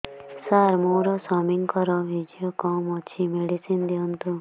ସାର ମୋର ସ୍ୱାମୀଙ୍କର ବୀର୍ଯ୍ୟ କମ ଅଛି ମେଡିସିନ ଦିଅନ୍ତୁ